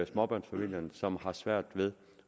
småbørnsfamilierne som har svært ved